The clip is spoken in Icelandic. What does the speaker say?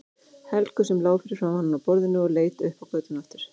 Helgu sem lá fyrir framan hann á borðinu og leit upp á götuna aftur.